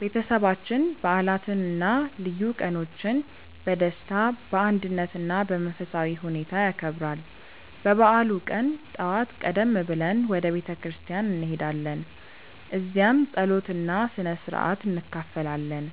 ቤተሰባችን በዓላትን እና ልዩ ቀኖችን በደስታ፣ በአንድነት እና በመንፈሳዊ ሁኔታ ያከብራል። በበዓሉ ቀን ጠዋት ቀደም ብለን ወደ ቤተ ክርስቲያን እንሄዳለን፣ እዚያም ጸሎት እና ስነ-ሥርዓት እንካፈላለን።